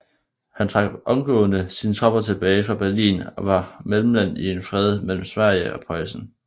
Han trak omgående sine tropper tilbage fra Berlin og var mellemmand i en fred mellem Sverige og Preussen